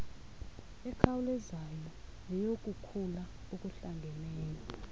ekhawulezayo neyokukhula okuhlangeneyo